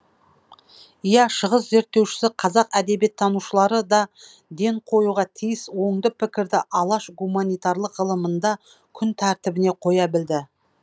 иә шығыс зерттеушісі қазақ әдебиеттанушылары да ден қоюға тиіс оңды пікірді алаш гуманитарлық ғылымында күн тәртібіне қоя білді